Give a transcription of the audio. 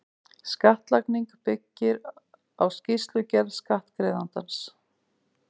Skattlagning byggir á skýrslugerð skattgreiðandans.